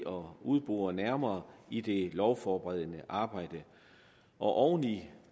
og udbore nærmere i det lovforberedende arbejde og oven i